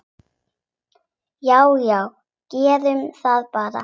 Já já, gerum það bara.